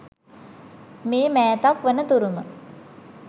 මේ මෑතක් වන තුරුම